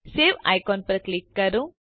save icon ઉપર click કરો